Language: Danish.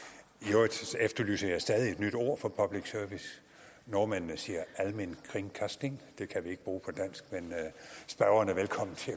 at efterlyser jeg stadig et nyt ord for public service nordmændene siger allmennkringkasting det kan vi ikke bruge men spørgeren er velkommen til